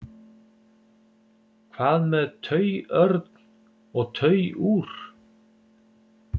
hvað með tauörn og tauúr